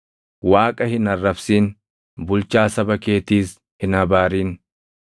“Waaqa hin arrabsin; bulchaa saba keetiis hin abaarin.